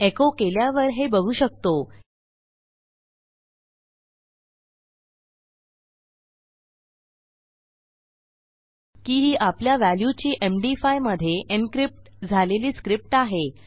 एको केल्यावर हे बघू शकतो की ही आपल्या व्हॅल्यूची एमडी5 मधे encryptझालेली स्क्रिप्ट आहे